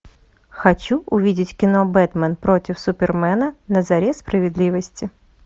хочу увидеть кино бэтмен против супермена на заре справедливости